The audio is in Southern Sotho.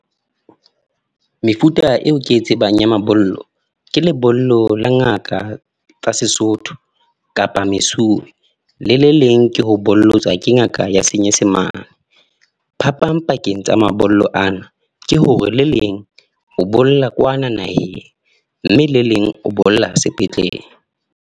Mefuta eo ke e tsebang ya mabollo ke lebollo la ngaka tsa sesotho kapa mesuwe le le leng ke ho bollotswa ke ngaka ya senyesemane. Phapang pakeng tsa mabollo ana ke hore le leng o bolla kwana naheng, mme le leng o bolla sepetlele.